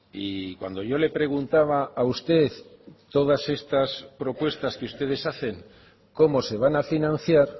y cuando yo le preguntaba a usted todas estas propuestas que ustedes hacen cómo se van a financiar